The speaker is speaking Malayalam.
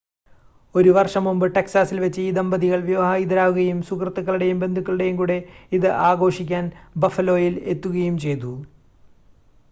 ഒരു വർഷം മുൻപ് ടെക്‌സാസിൽ വച്ച് ഈ ദമ്പതികൾ വിവാഹിതരാവുകയും സുഹൃത്തുക്കളുടെയും ബന്ധുക്കളുടെയും കൂടെ ഇത് ആഘോഷിക്കാൻ ബഫലോയിൽ എത്തുകയും ചെയ്തു